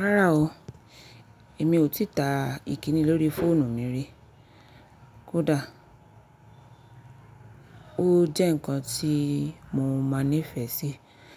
Rárá o, èmi ò tìta ìkíni lórí fóònù mi rí. Kódà ó jẹ́ nǹkan tí mo máa nífẹ̀ẹ́ sí